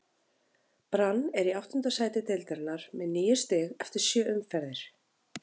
Brann er í áttunda sæti deildarinnar með níu stig eftir sjö umferðir.